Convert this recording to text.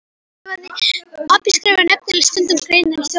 Pabbi skrifaði nefnilega stundum greinar í Þjóðviljann.